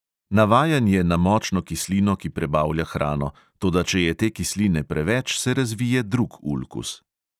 Navajen je na močno kislino, ki prebavlja hrano, toda če je te kisline preveč, se razvije drug ulkus.